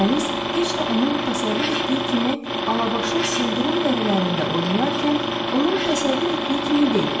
Dəniz heç də onun təsəvvür etdiyi kimi Alabaşın sıldırım dərələrində oynayarkən, onun təsəvvür etdiyi kimi deyil.